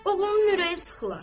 Oğlunun ürəyi sıxılar.